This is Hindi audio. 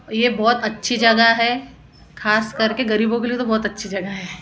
ये बहुत अच्छी जगह है खास करके गरीबों के लिए तो बहुत अच्छी जगह है।